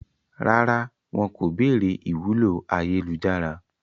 Rárá, wọn kò béèrè ìwúlò ayélujára